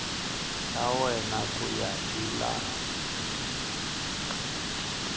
ta wena ku ya hilaha